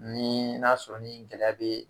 Ni n'a sɔrɔ ni gɛlɛya bɛ